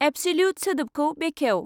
Absolute सोदोबखौ बेखेव।